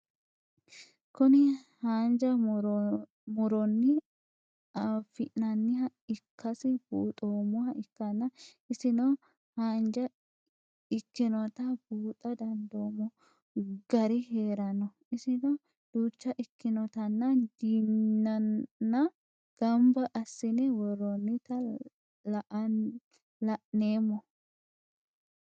Kuni hanja muroni afi'nanniha ikasi bunxemoha ikana isino haannja ikinota buuxa dandinemo gari heerano isino ducha ikinotanna diinnna gamba asine woronita la'nemo?